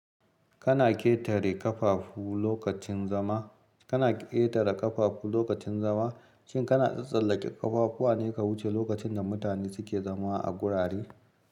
Kana ƙetare ƙafafu lokacin zama? Kana ƙetara ƙafafu lokacin zama? Shin kana tsatstsallake kafafuwa ne ka wuce lokacin da mutane suke zama a gurare?